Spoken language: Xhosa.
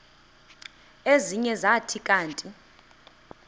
ezinye zathi kanti